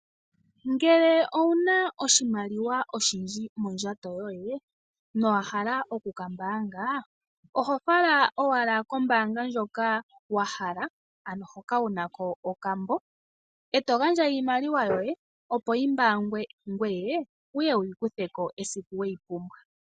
Uuna wu na oshimaliwa oshindji mondjato yoye nowa hala okukambanga oho fala owala kombaanga ndjoka wa hala ano hoka wu na ko okambo e to gandja iimaliwa yoye opo yi mbangwe ngoye wu ye wu yi kutheko esiku we yi pumbwa.